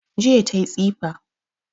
Jiya tayi tsifa